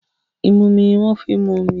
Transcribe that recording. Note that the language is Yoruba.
Ìmumi ni wọ́n ń fi momi.